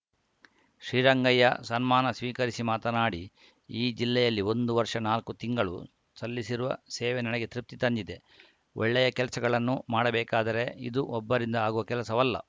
ಶ್ರೀರಂಗಯ್ಯ ಸನ್ಮಾನ ಸ್ವೀಕರಿಸಿ ಮಾತನಾಡಿ ಈ ಜಿಲ್ಲೆಯಲ್ಲಿ ಒಂದು ವರ್ಷ ನಾಲ್ಕು ತಿಂಗಳು ಸಲ್ಲಿಸಿರುವ ಸೇವೆ ನನಗೆ ತೃಪ್ತಿ ತಂದಿದೆ ಒಳ್ಳೆಯ ಕೆಲಸಗಳನ್ನು ಮಾಡಬೇಕಾದರೆ ಇದು ಒಬ್ಬರಿಂದ ಆಗುವ ಕೆಲಸವಲ್ಲ